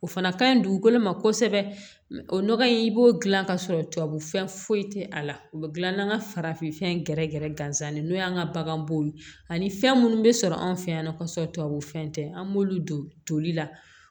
O fana ka ɲi dugukolo ma kosɛbɛ o nɔgɔ in i b'o gilan ka sɔrɔ tubabu fɛn foyi tɛ a la u bɛ gilan n'an ka farafinfɛn gɛrɛgɛrɛ gansan de n'o y'an ka bagan bow ye ani fɛn minnu bɛ sɔrɔ an fɛ yan nɔ kosɛbɛ tubabu fɛn tɛ an b'olu don toli la